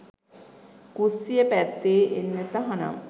කුස්සිය පැත්තේ එන්න තහනම්.